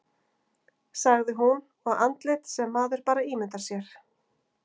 sagði hún, og andlit sem maður bara ímyndar sér